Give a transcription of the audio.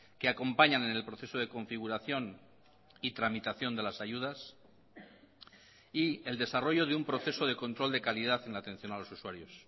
que acompañan en el proceso de configuración y tramitación de las ayudas y el desarrollo de un proceso de control de calidad en la atención a los usuarios